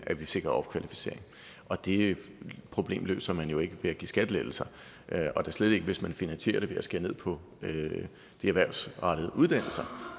at vi sikrer opkvalificering og det problem løser man jo ikke ved at give skattelettelser og da slet ikke hvis man finansierer det ved at skære ned på de erhvervsrettede uddannelser